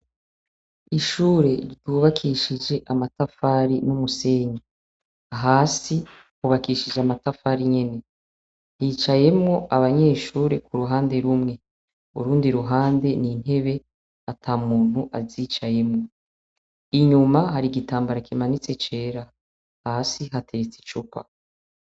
Ishure bubakishije amatafari n'umusenyi. Hasi hubakishije amatafari nyene. Yicayemwo abanyeshure kuruhande rumwe. Urundi ruhande ni intebe atamuntu azicayemwo. Inyuma, hari igitambara kimanitse cera. Hasi hateretse icupa.